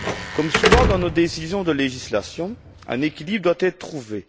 Comme souvent dans nos décisions de législation, un équilibre doit être trouvé.